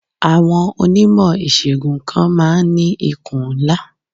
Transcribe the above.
Àwọn Onímọ̀ ìṣègùn kan ma ń ní ikùn ńlá.